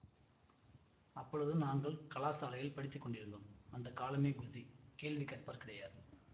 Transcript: அப்பொழுது நாங்கள் கலாசாலையில் படித்து கொண்டிருந்தோம் அந்த காலமே குஷி கேள்வி கேட்பார் கிடையாது